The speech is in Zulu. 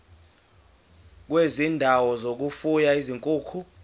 kwezindawo zokufuya izinkukhu